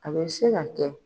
A bɛ se ka kɛ